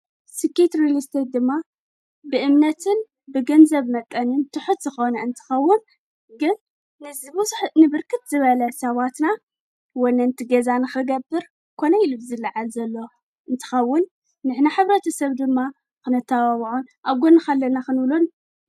ስኪት ርልስተት ድማ ብእምነትን ብገንዘብ መጠንን ትሑት ኸነ እንትኸውን ግል ንዝብስሕ ንብርክት ዝበለት ሰዋትና ወንንቲ ገዛን ክገብር ኮነይ ኢልድ ዝለዓል ዘሎ እንትኸውን ንሕና ኅብረትሰብ ድማ ኽነታባብዖን ኣጐንኻለና ኽንብሉን።